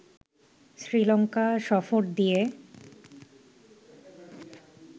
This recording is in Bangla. শ্রীলঙ্কা সফর দিয়ে